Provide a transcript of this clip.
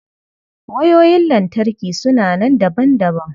Wayoyin lantarki suna nan daban-daban.